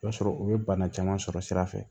O b'a sɔrɔ u ye bana caman sɔrɔ sira fɛ